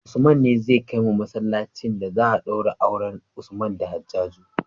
Usman ne zai kai mu masalacin da za a daura auren usman da hajaju